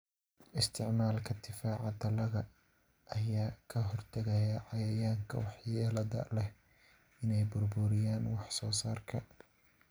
Isticmaalka difaaca dalagga ayaa ka hortagaya cayayaanka waxyeellada leh inay burburiyaan wax-soo-saarka.